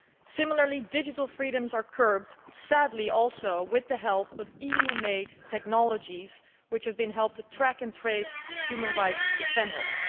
Similarly, digital freedoms are curbed, sadly also with the help of EU made technologies, which have been used to help track and trace human rights defenders.